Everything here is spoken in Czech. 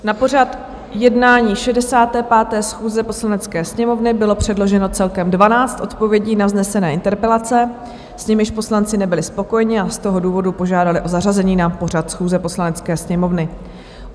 Na pořad jednání 65. schůze Poslanecké sněmovny bylo předloženo celkem 12 odpovědí na vznesené interpelace, s nimiž poslanci nebyli spokojeni, a z toho důvodu požádali o zařazení na pořad schůze Poslanecké sněmovny.